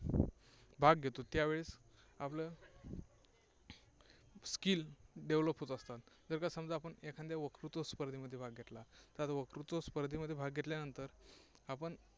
भाग घेतो. त्यावेळेस आपलं skill develop होत असतात. जर का समजा आपण एखाद्या वक्तृत्व स्पर्धेमध्ये भाग घेतला तर वक्तृत्व स्पर्धेत भाग घेतल्यानंतर आपण